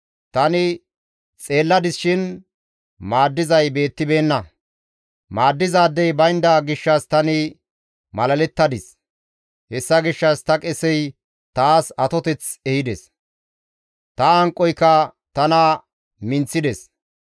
Tani xeelladis shin maaddizay beettibeenna; maaddizaadey baynda gishshas tani malalettadis. Hessa gishshas ta qesey taas atoteth ehides; ta hanqoyka tana minththides.